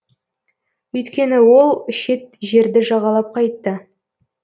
өйткені ол шет жерді жағалап қайтты